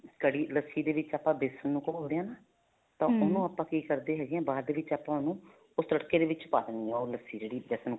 ਕੜੀ ਲੱਸੀ ਦੇ ਵਿੱਚ ਆਪਾਂ ਵੇਸਨ ਨੂੰ ਘੋਲਦੇ ਆ ਨਾ ਕੀ ਕਰਦੇ ਹੈਗੇ ਆ ਬਾਅਦ ਦੇ ਵਿੱਚ ਆਪਾਂ ਉਹਨੂੰ ਉਸ ਤੱੜਕੇ ਦੇ ਪਾ ਦਿੰਨੇ ਹਾਂ ਉਹ ਲੱਸੀ ਜਿਹੜੀ ਵੇਸਨ